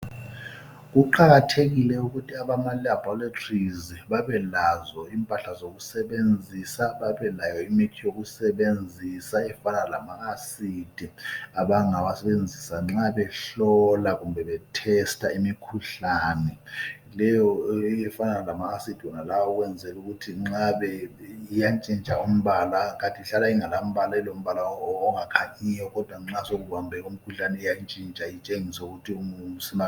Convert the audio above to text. Kuqakathekile ukuthi abamaLaboratories babelazo impala zokusebenzisa, babelayo imithi yokusebenzisa, efana lama acids okusebenzisa nxa behlola kumbe Bethesta Lawo ma acids, nxa engakasetshenziswa alombala ongakhanyiyo. Ingabamba umkhuhlane iyatshintsha umbala.